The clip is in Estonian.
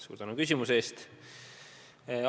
Suur tänu küsimuse eest!